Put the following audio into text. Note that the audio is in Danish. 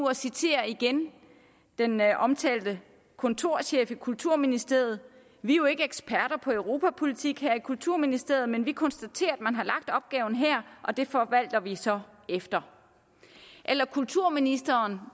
at citere den omtalte kontorchef i kulturministeriet vi er jo ikke eksperter på europapolitik her i kulturministeriet men vi konstaterer at man har lagt opgaven her og det forvalter vi så efter kulturministeren